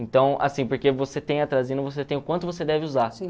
Então, assim, porque você tem atrazina, você tem o quanto você deve usar.